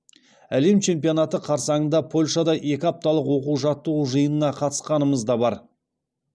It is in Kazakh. әлем чемпионаты қарсаңында польшада екі апталық оқу жаттығу жиынына қатысқанымыз да бар